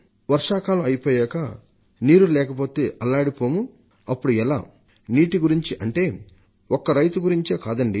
వర్షాకాలం ముగిసిన తరువాత నీరులేకపోతే అల్లాడిపోతాం అప్పుడు ఎలా నీటిని గురించి అంటే ఒక్క రైతుల గురించే కాదండి